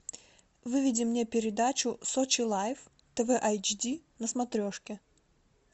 выведи мне передачу сочи лайф тв айч ди на смотрешке